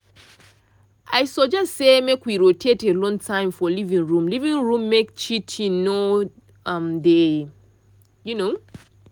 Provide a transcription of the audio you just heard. i suggest say make we rotate alone time for living room living room make cheating no um dey um